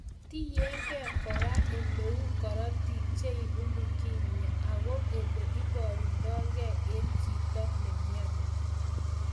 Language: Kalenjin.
Tienge kora ele u korotik cheibu leukemia ako ele iborundokei en chito nemyoni